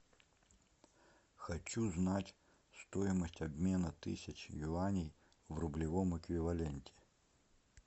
хочу знать стоимость обмена тысячи юаней в рублевом эквиваленте